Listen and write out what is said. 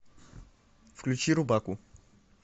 включи рубаку